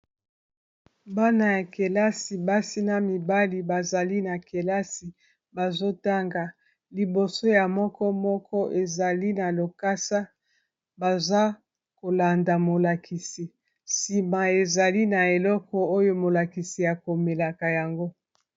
Bana ya kelasi basi na mibali bazali na kelasi bazotanga liboso ya moko moko ezali na lokasa baza kolanda molakisi nsima ezali na eleko oyo molakisi akomelaka yango